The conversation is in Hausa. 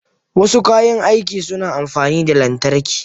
Wasu kayan aiki suna amfani da lantarki.